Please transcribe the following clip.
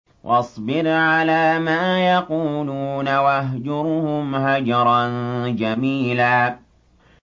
وَاصْبِرْ عَلَىٰ مَا يَقُولُونَ وَاهْجُرْهُمْ هَجْرًا جَمِيلًا